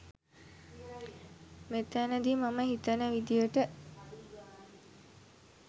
මෙතැනදී මම හිතන විදියට